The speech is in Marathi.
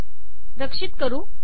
रक्षित करू